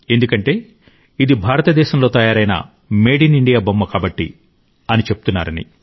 ఎందుకంటే ఇది భారతదేశంలో తయారైన మేడ్ ఇన్ ఇండియా బొమ్మ కాబట్టి అని చెప్తున్నారని